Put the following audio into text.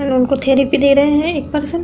न् उनको थेरेपी दे रहे हैं एक पर्सन ।